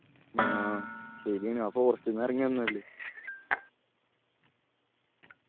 ആ ശെരിയാണ് ആ forest ന്ന് എറങ്ങി വന്നേ അല്ലെ